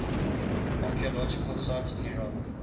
archaeological sites in iraq